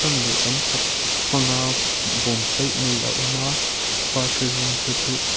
leh tam tak hmanga a awm a par lthi rawng te chu--